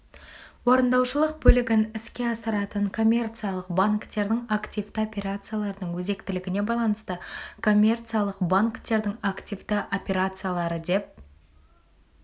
орындаушылық бөлігін іске асыратын коммерциялық банктердің активті операцияларының өзектілігіне байланысты коммерциялық банктердің активті операциялары деп